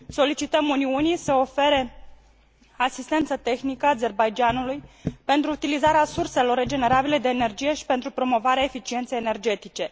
Solicităm Uniunii să ofere asistență tehnică Azerbaidjanului pentru utilizarea surselor regenerabile de energie și pentru promovarea eficienței energetice.